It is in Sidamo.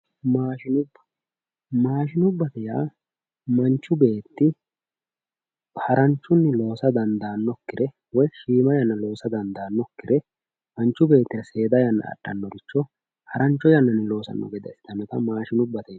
maashinubba maashinubbate yaa manchu beetti haranchunni loosa dandaannokkire woy shiima yanna loosa dandaannokkire manchu beetira seeda yanna adhannoricho harancho yannanni loosanno gede assitanota maashinubbate yineemmo.